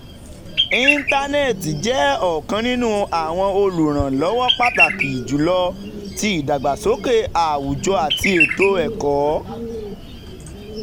intanẹẹti jẹ ọkan ninu awọn oluranlowo pataki julọ ti idagbasoke awujọ ati eto-ẹkọ.